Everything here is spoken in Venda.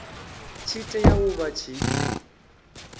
tshi tea u vha tshi